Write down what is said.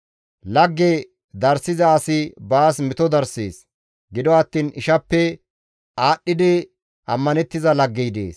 Lagge darssiza asi baas meto darsees; gido attiin ishappe aadhdhidi ammanettiza laggey dees.